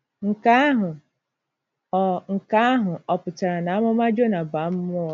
Nke ahụ ọ̀ Nke ahụ ọ̀ pụtara na amụma Jona bụ amụma ụgha?